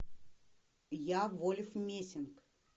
я вольф мессинг